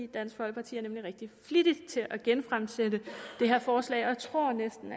dansk folkeparti er nemlig rigtig flittig til at genfremsætte det her forslag og jeg tror næsten